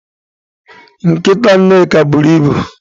Nkita Nneka buru ibu.